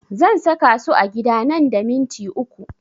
Zan saka su a gida nan da minti uku